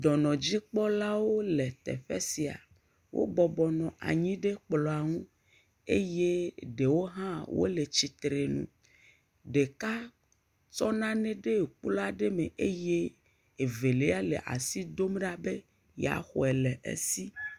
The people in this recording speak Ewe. dɔnɔdzikpɔlawo le teƒe sia wó bɔbɔnɔ anyi ɖe kplɔ̃ ŋu eye ɖewo hã le tsitreŋu ɖeka tsɔ nanɛ dɛ kpluaɖɛ mɛ eye evelia le asi dom ɖa be ya xoe le si